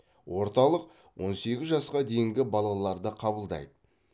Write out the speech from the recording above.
орталық он сегіз жасқа дейінгі балаларды қабылдайды